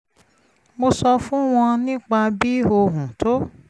mo sọ fún wọn nípa bí ohùn tó